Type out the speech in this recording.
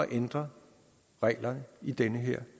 ændre reglerne i den her